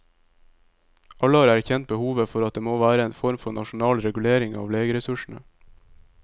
Alle har erkjent behovet for at det må være en form for nasjonal regulering av legeressursene.